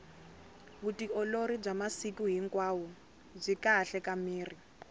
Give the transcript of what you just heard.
vutiolori bya masiku hinkwao byi kahle ka miri